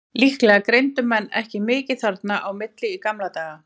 Líklega greindu menn ekki mikið þarna á milli í gamla daga.